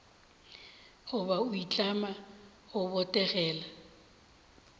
goba go itlama go botegela